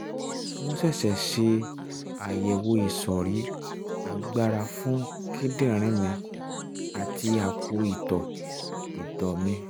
wọ́n ṣẹ̀ṣẹ̀ ṣe àyẹ̀wò ìsọ̀rí-agbára fún kíndìnrín mi àti àpò ìtọ̀ ìtọ̀ mi